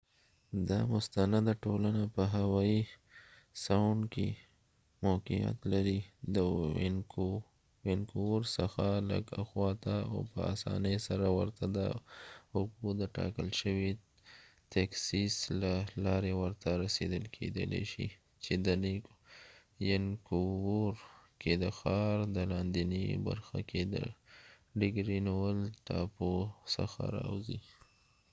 دا مستنده ټولنه په هووي ساوڼد کې موقعیت لري د وينکوور څخه لږ اخواته ،او په اسانی سره ورته د اوبو ډتاکل شوي تیکسیس له لارې ورته رسیدل کېدلای شي چې د ینکوور کې د ښار د لاندېني برخه کې د ګرینويل ټاپو څخه راوځی